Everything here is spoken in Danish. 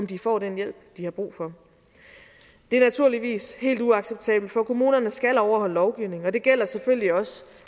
de får den hjælp de har brug for det er naturligvis helt uacceptabelt for kommunerne skal overholde lovgivningen og det gælder selvfølgelig også